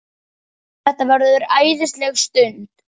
Þetta verður æðisleg stund.